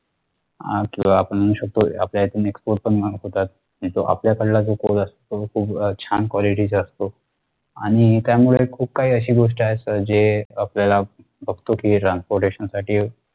आह किंवा आपण म्हणू शकतो आपल्यीथून export पण mark होतात तिथं आपल्या सगळ्या जो काही असतो तो छान quality चा असतो आणि त्यामुळे खूप काही अशी गोष्ट आहे जेआपल्याला बघतो कि transportation साठी